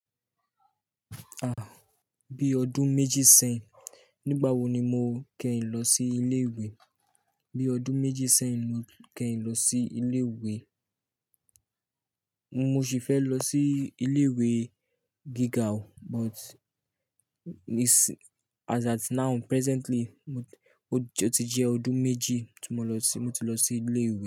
Ah! Bí ọdún méjì sẹ́yìn. Nígbà wo ni mo kẹ́yin lọ sí ilé ìwé? Bí ọdún méjì sẹ́yìn mo kẹ́yin lọ sí ilé ìwé. Mo sì fẹ́ lọ sí ilé ìwé gíga o, but is as at now presently, ó ti jẹ́ ọdún méjì tí mo lọ sí, mo ti lọ sí ilé ìwé.